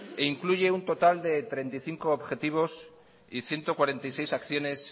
e incluye un total de treinta y cinco objetivos y ciento cuarenta y seis acciones